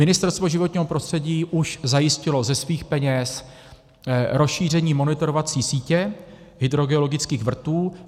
Ministerstvo životního prostředí už zajistilo ze svých peněz rozšíření monitorovací sítě hydrogeologických vrtů.